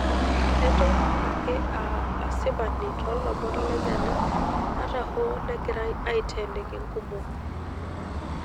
Eton ake aa asipani toolomon lenyana ata hoo negirai aiteeniki nkumok.